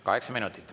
Kaheksa minutit.